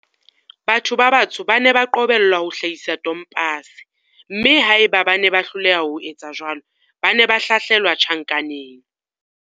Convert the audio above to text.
Batho ba batsho ba ne ba qobellwa ho hlahisa tompase, mme haeba bane ba hloleha ho etsa jwalo, ba ne ba hlahlelwa tjhankaneng.